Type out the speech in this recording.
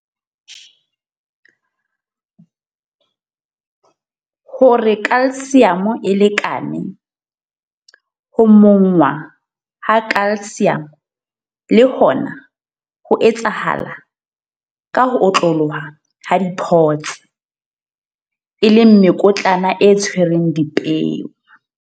Hore Ca e lekane, ho monngwa ha Ca le hona ho etsahala ka ho otloloha ka dipods, mekotlana e tshwereng dipeo.